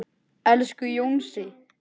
Elsku Jónsi.